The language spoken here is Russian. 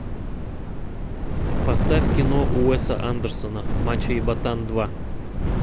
поставь кино уэса андерсона мачо и ботан два